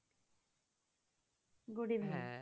good evening